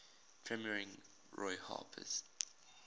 premiering roy harper's